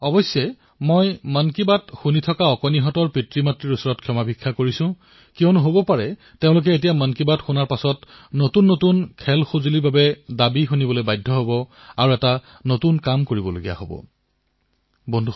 অৱশ্যে মই মন কী বাত শুনি থকা শিশুসকলক পিতৃমাতৃৰ পৰা ক্ষমা বিচাৰিছো কিয়নো তেওঁলোকে মন কী বাত শুনাৰ পিছত খেলাসামগ্ৰীৰ নতুন নতুন আবদাৰ শুনিবলগীয়া হব পাৰে